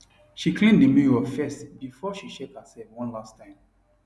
she clean the mirror firstbefore she check herself one last time